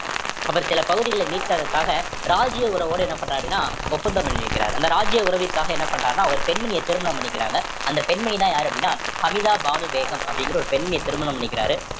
அவர் சில பகுதிகளை மீட்கறதுக்காக ராஜிய உறவோடு என்ன பண்றாரு அப்படின்னா ஒப்பந்தம் பண்ணி இருக்கிறார் அந்த ராஜிய உறவிற்காக என்ன பண்றாருன்னா ஒரு பெண்மணிய திருமணம் பண்ணிக்கிறாங்க அந்த பெண்மணின்னா யாரு அப்படின்னா அமிதா பானு பேகம் அப்படிங்கிற ஒரு பெண்ண ஒரு பெண்ணை திருமணம் பண்ணிக்கிறாரு